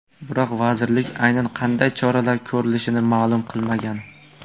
Biroq vazirlik aynan qanday choralar ko‘rilishini ma’lum qilmagan.